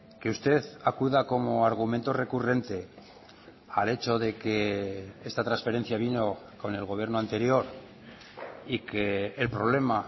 que usted acuda como argumento recurrente al hecho de que esta transferencia vino con el gobierno anterior y que el problema